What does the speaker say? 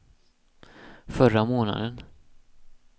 förra månaden